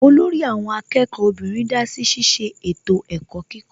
Olórí àwọn akẹ́kọ̀ọ́ obìnrin dásí ṣiṣẹ́ ètò ẹ̀kọ́ kíkọ́